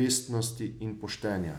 vestnosti in poštenja.